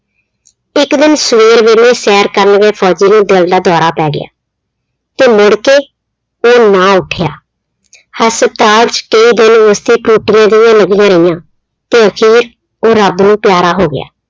ਇੱਕ ਦਿਨ ਸਵੇਰ ਵੇਲੇ ਸੈਰ ਕਰਨ ਗਏ ਫ਼ੋਜ਼ੀ ਨੂੰ ਦਿਲ ਦਾ ਦੌਰਾ ਪੈ ਗਿਆ, ਤੇ ਮੁੜਕੇ ਉਹ ਨਾ ਉੱਠਿਆ ਹਸਪਤਾਲ 'ਚ ਕਈ ਦਿਨ ਉਸਦੇ ਟੂਟੀਆਂ ਜਿਹੀਆਂ ਲੱਗੀਆਂ ਰਹੀਆਂ ਤੇ ਫਿਰ ਉਹ ਰੱਬ ਨੂੰ ਪਿਆਰਾ ਹੋ ਗਿਆ।